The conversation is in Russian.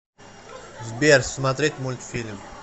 сбер смотреть мульфильм